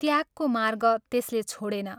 त्यागको मार्ग त्यसले छोडेन।